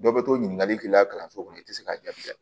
Dɔ bɛ to ɲininkali k'i la kalanso kɔnɔ i tɛ se k'a jaabi diya